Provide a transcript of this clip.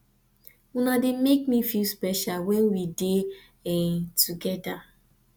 una dey make me feel special when we dey together